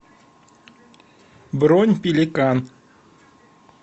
бронь пеликан